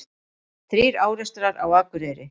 Þrír árekstrar á Akureyri